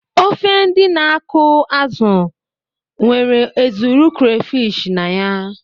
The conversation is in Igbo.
Ofe ndị na-akụ azụ nwere ezuru crayfish na ya.